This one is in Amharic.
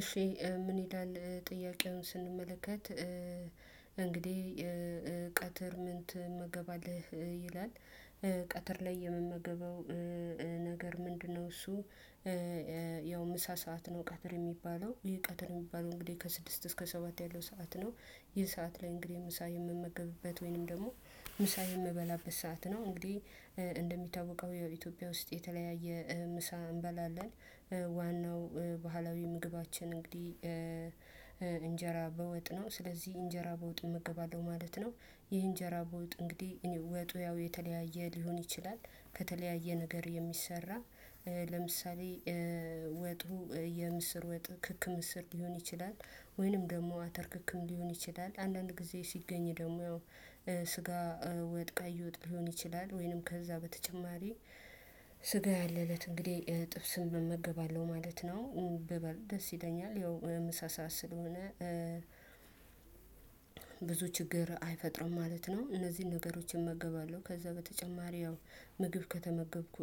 እሺ ምን ይላል ጥያቄውን ስንመለከት እንግዲህ ቀትር ምን ቴመገባለህ? ይላል ቀትር ላይ የምመገበው ነገር ምንድነው እሱ ያው ምሳ ሰዓት ነው ቀትር የሚባለው ይሄ ቀትር የሚባለው እንግዲህ ከስድስት እስከ ሰባት ያለው ሰዓት ነው ይህ ሰዓት ላይ እንግዲህ ምሳ የምመገብበት ወይንም ደግሞ ምሳ የምበላበት ሰዓት ነው እንግዲህ እንደሚታወቀው የኢትዮጵያ ውስጥ የተለያየ ምሳ እንበላለን ዋናው ባህላዊ ምግባችን እንግዲህ እንጀራ በወጥ ነው ስለዚህ እንጀራ በወጥ እመገባለሁ ማለት ነው ይህ እንጀራ በውጥ እንግዲህ እኔ ወጡ ያው የተለያየ ሊሆን ይችላል ከተለያየ ነገር የሚሰራ ለምሳሌ ወጡ የምስር ወጥ ክክ ምስር ሊሆን ይችላል ወይንም ደግሞ አተር ክክም ሊሆን ይችላል አንዳንድ ጊዜ ሲገኝ ደግሞ ስጋ ወጥ ቀይ ወጥ ሊሆን ይችላል ወይንም ከዛ በተጨማሪ ስጋ ያለለት እንግዲህ ጥብስን እመገባለው ማለት ነው በበል ደስ ይለኛል ያው ምሳ ሰዓት ስለሆነ። ብዙ ችግር አይፈጥርም ማለት ነው እነዚህን ነገሮችን እመገባለሁ ከዛ በተጨማሪ ያው ምግብ ከተመገብኩ